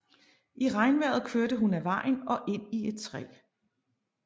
I regnvejret kørte hun af vejen og ind i et træ